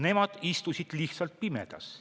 Nemad istusid lihtsalt pimedas.